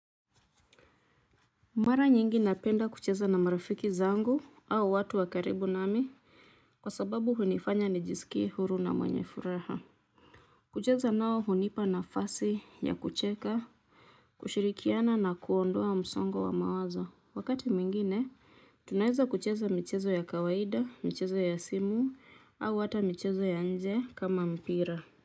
Mara nyingi napenda kucheza na marafiki zangu au watu wa karibu nami kwa sababu hunifanya ni jisikie huru na mwenye furaha kucheza nao hunipa nafasi ya kucheka kushirikiana na kuondoa msongo wa mawazo wakati mwingine tunaweza kucheza michezo ya kawaida michezo ya simu au hata michezo ya nje kama mpira